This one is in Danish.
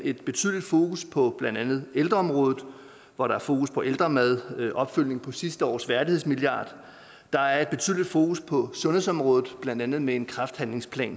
et betydeligt fokus på blandt andet ældreområdet hvor der er fokus på ældremad og en opfølgning på sidste års værdighedsmilliard der er et betydeligt fokus på sundhedsområdet blandt andet med en kræftplan